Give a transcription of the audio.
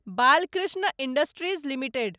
Balkrishna industries limited